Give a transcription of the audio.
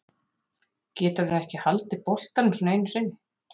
Getur hann ekki haldið boltanum svona einu sinni?